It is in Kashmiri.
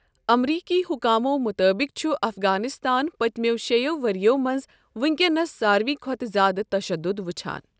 امریکی حکامَو مُطٲبِق چھُ افغانستان پٔتمٮ۪و شیٚیو ؤرٮ۪و منٛز وٕنکٮ۪نس ساروٕے کھۄتہٕ زِیٛادٕ تشدد وٕچھان۔